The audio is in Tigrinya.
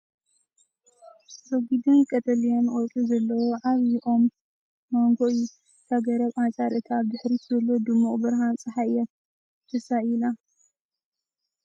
ረጒድን ቀጠልያን ቆጽሊ ዘለዎ ዓቢ ኦም ማንጎ እዩ። እታ ገረብ ኣንጻር እቲ ኣብ ድሕሪት ዘሎ ድሙቕ ብርሃን ጸሓይ እያ ተሳኢላ።